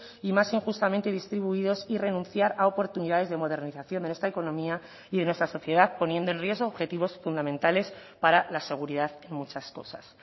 y más injustamente distribuidos y renunciar a oportunidades de modernización de nuestra economía y de nuestra sociedad poniendo en riesgo objetivos fundamentales para la seguridad en muchas cosas